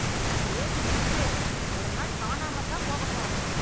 இப்படியே குடிச்சிட்டிரு, ஒரு நாள் காணாம தான் போக போற.